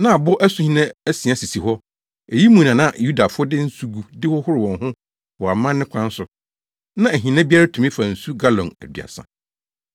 Na abo asuhina asia sisi hɔ; eyinom mu na na Yudafo de nsu gu de hohoro wɔn ho wɔ amanne kwan so. Na ahina biara tumi fa nsu galɔn aduasa.